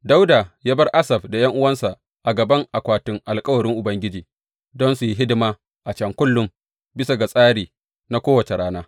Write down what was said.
Dawuda ya bar Asaf da ’yan’uwansa a gaban akwatin alkawarin Ubangiji don su yi hidima a can kullum, bisa ga tsari na kowace rana.